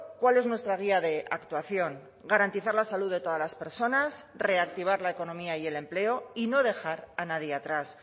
cuál es nuestra guía de actuación garantizar la salud de todas las personas reactivar la economía y el empleo y no dejar a nadie atrás